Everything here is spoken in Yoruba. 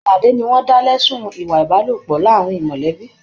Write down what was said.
Alase ni wọn dá lẹ̀sun ìwà ìbálòpọ̀ láàrín mọlẹbi.